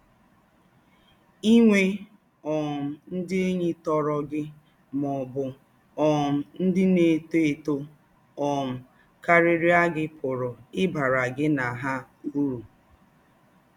Ị̀nwè́ um ndị̀ ényí tòrọ̀ gị má ọ̀ bụ́ um ndị̀ na-étò étò um káríríà gị pụ̀rù ị̀ bàrà gị na hà ūrù